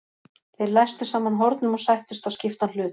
Þeir læstu saman hornum og sættust á skiptan hlut.